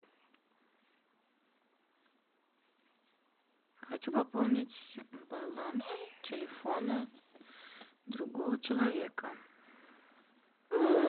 хочу пополнить баланс телефона другого человека